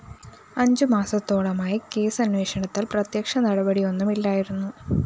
അഞ്ചു മാസത്തോളമായി കേസന്വേഷണത്തില്‍ പ്രത്യക്ഷ നടപടിയൊന്നുമില്ലായിരുന്നു